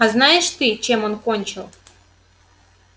а знаешь ты чем он кончил